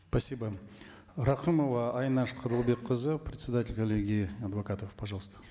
спасибо рахымова айнаш қырлыбекқызы председатель коллегии адвокатов пожалуйста